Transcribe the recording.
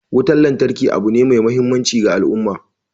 Wutan lantarki abu ne mai muhimmanci ga al'umma